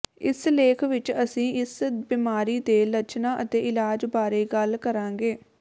ਇਸ ਲੇਖ ਵਿਚ ਅਸੀਂ ਇਸ ਬਿਮਾਰੀ ਦੇ ਲੱਛਣਾਂ ਅਤੇ ਇਲਾਜ ਬਾਰੇ ਗੱਲ ਕਰਾਂਗੇ